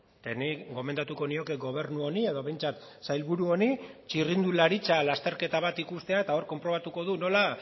eta nik gomendatuko nioke gobernu honi edo behintzat sailburu honi txirrindularitza lasterketa bat ikustea eta hor konprobatuko du nola